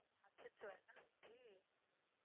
அச்சச்சோ என்ன ஆச்சு?